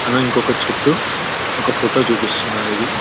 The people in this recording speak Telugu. అను ఇంకో చెట్టు ఒక ఫోటో చూపిస్తున్నారు ఇది --